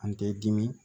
An tɛ dimi